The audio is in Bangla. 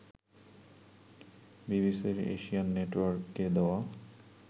বিবিসির এশিয়ান নেটওয়ার্ককে দেওয়া